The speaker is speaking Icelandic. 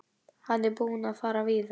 Hann er búinn að fara víða.